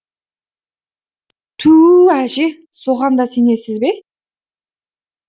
түу әже соған да сенесіз бе